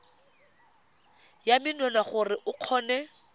ya menwana gore o kgone